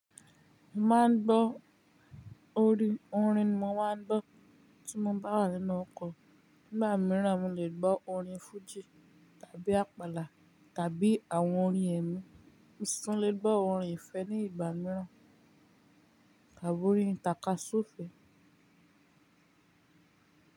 Mo máa ń gbọ́ orin. Orin ni mo máa ń gbọ́ tí mo bá wà nínú ọkọ̀. Nígbà mìíràn, mo lè gbọ́ orin fújì tàbí àpàlà tàbí àwọn orin ẹ̀mí. Mo si tun lè gbọ́ orin ìfẹ́ ní ìgbà mìíràn tàbí orin tàkasufe.